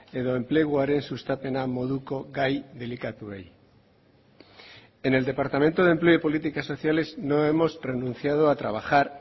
edo enpleguaren sustapena moduko gai delikatuei en el departamento de empleo y políticas sociales no hemos renunciado a trabajar